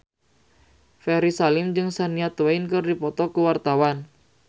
Ferry Salim jeung Shania Twain keur dipoto ku wartawan